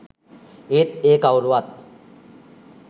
ඒත් ඒ කවුරුවත්